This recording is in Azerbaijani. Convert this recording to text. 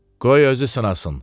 Qoy özü sınasın.